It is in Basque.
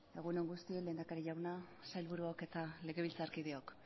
egun on guztioi lehendakari jauna sailburuok eta legebiltzarkideok